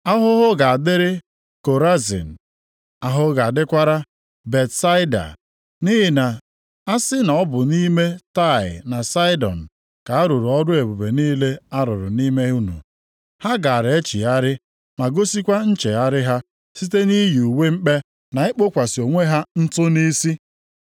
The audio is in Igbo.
“Ahụhụ ga-adịrị gị Korazin. Ahụhụ ga-adịkwara gị Betsaida. Nʼihi na a sị na ọ bụ nʼime Taịa na Saịdọn ka a rụrụ ọrụ ebube niile a rụrụ nʼime unu, ha gaara echegharị ma gosikwa nchegharị ha site nʼiyi uwe mkpe na ikpokwasị onwe ha ntụ nʼisi.